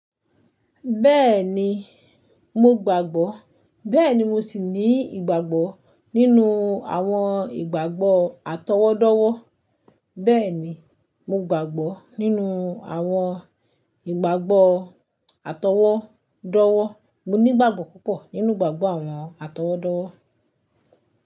Bẹ́ẹ̀ni, mo gbàgbọ́, bẹ́ẹ̀ni mo sì ní ìgbàgbọ́ nínú àwọn ìgbàgbọ́ àtọwọ́dọ́wọ́. Bẹ́ẹ̀ni, mo gbàgbọ́ nínú àwọn ìgbàgbọ́ àtọwọ́dọ́wọ́. Mo ní ìgbàgbọ́ púpọ̀ nínú ìgbàgbọ́ àwọn àtọwọ́dọ́wọ́.